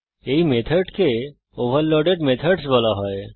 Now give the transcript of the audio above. এই মেথডকে overloaded methods বলা হয়